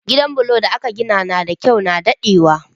Gidan bulo da aka gina da kyau na daɗewa